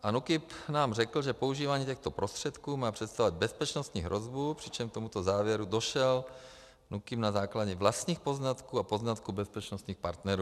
A NÚKIB nám řekl, že používání těchto prostředků má představovat bezpečnostní hrozbu, přičemž k tomuto závěru došel NÚKIB na základě vlastních poznatků a poznatků bezpečnostních partnerů.